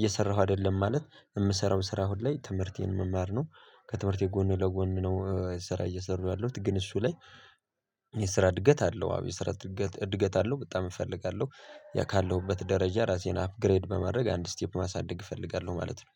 እየሰራሁ አይደለም ማለት የምሰራው ስራ አሁን ላይ ትምህርቴን መማር ነው ከትምህርቴ ጎኑ ለጎኑ ነው ስራ እየሰሩ ያለሁት ግን እሱ ላይ። የስራ እድገት አለው አብ የስራ እድገት አለው በጣም እፈልጋለሁ ያ ካለሁበት ደረጃ ራሴን አፕግሬድ በመረግ አንድ ስቴፕ ማሳደግ እፈልጋለሁ ማለት ነው